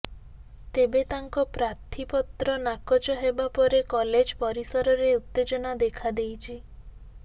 ତେବେ ତାଙ୍କ ପ୍ରାର୍ଥୀପତ୍ର ନାକଚ ହେବା ପରେ କଲେଜ ପରିସରରେ ଉତ୍ତେଜନା ଦେଖାଦେଇଛି